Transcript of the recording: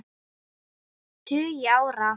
tugi ára.